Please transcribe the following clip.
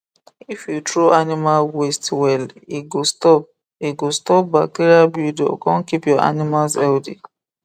if you throw animal waste well e go stop e go stop bacteria buildup con keep your animals healthy